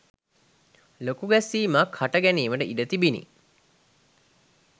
ලොකු ගැස්සීමක් හට ගැනීමට ඉඩ තිබිණි.